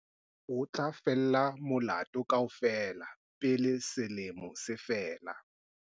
O tla fella molato kaofela pele selemo se fela.